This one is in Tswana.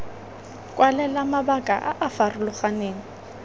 kwalela mabaka a a farologaneng